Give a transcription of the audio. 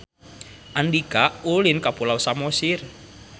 Andika ulin ka Pulau Samosir